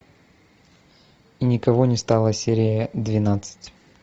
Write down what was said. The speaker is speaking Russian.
и никого не стало серия двенадцать